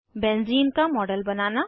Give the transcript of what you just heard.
benzene का model बनाना